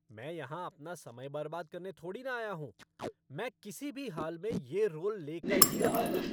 मैं यहां अपना समय बर्बाद करने थोड़ी ना आया हूँ! मैं किसी भी हाल में ये रोल लेकर ही रहूंगा।